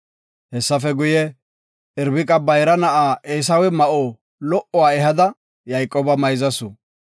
Hessafe guye, Irbiqa bayra na7a Eesawe ma7o lo77uwa ehada Yayqooba mayzasu.